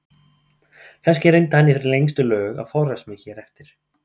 Kannski reyndi hann í lengstu lög að forðast mig hér eftir.